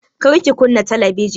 Kar ki kunna talabijin!